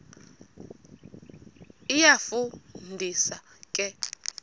iyafu ndisa ke